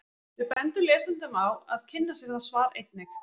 Við bendum lesendum á að kynna sér það svar einnig.